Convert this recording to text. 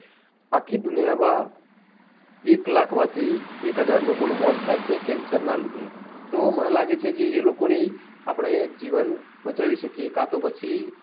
આખી દુનિયા માં એક લાખ માંથી એક હજાર લોકો નું મોત થાય છે કેન્સર ના લીધે તો મને લાગે છે કે એ લોકો ની આપણે જીવન બચાવી શકીએ કાતો પછી